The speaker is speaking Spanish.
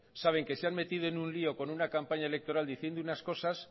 saben que se han metido en un lío con una campaña electoral diciendo unas cosas